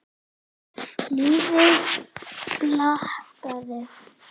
Lifi blakið!